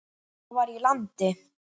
Það var í landi